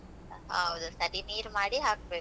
ಹೌದು. ಸರಿ ನೀರ್ ಮಾಡಿ ಹಾಕ್ಬೇಕ್.